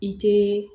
I te